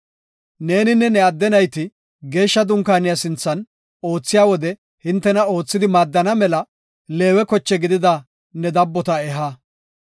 Neeninne ne adde nayti geeshsha dunkaaniya sinthan oothiya wode hintena oothidi maadana mela Leewe koche gidida ne dabbota eha.